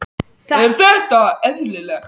Er þetta eðlilegt?